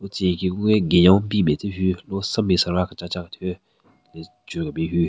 Tsü nyeki gungü günyo bin matse hyu lo senbin sara kechacha kethyu le chwe ryu kebin hyu.